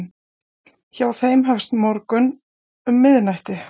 hjá þeim hefst morgunn um miðnætti